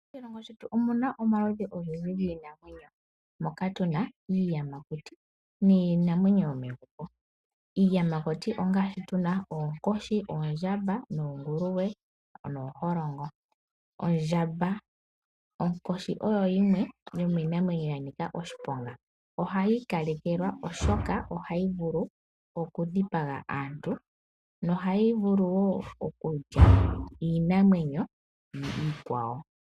Moshilongo shetu omuna omaludhi ogendji giinamwenyo. Moka tuna iiyamakuti miinamwenyo yomegumbo. Iiyamakuti ongaashi tuna oonkoshi, oondjamba noonguluwe nooholongo. Onkoshi oyo yimwe yomiinamwenyo yanika oshiponga . Ohayi ikalekelwa oshoka ohayi vulu okudhipaga aantu nohayi vulu wo okulya iinamwenyo iikwawo .